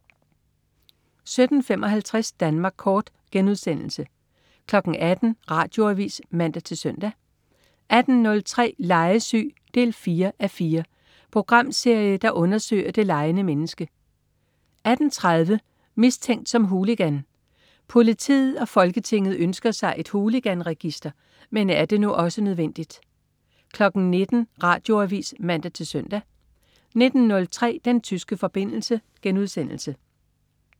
17.55 Danmark kort* 18.00 Radioavis (man-søn) 18.03 Legesyg 4:4. Programserie, der undersøger det legende menneske 18.30 Mistænkt som hooligan. Politiet og Folketinget ønsker sig et hooliganregister. Men er det nu også nødvendigt? 19.00 Radioavis (man-søn) 19.03 Den tyske forbindelse*